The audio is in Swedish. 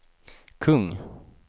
kung